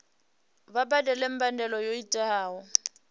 vha badele mbadelo yo tiwaho